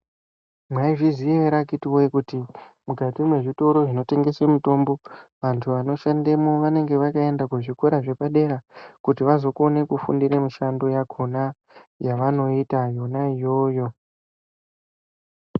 Maizviziya ere akhiti voye kuti mukati mwezvitoro zvinotengese mitombo vantu vanoshandemwo vanenga vakaenda kuzvikora zvepadera. Kuti vazokone kufundira mishando yavo kona yavanoita yona iyoyo.